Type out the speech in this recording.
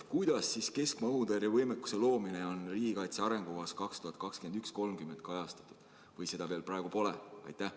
Kuidas on keskmaa-õhutõrje võimekuse loomine riigikaitse arengukavas 2021–2030 kajastatud või seda pole praegu veel üldse?